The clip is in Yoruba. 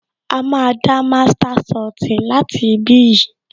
A máa dá master soti láti ibí yìí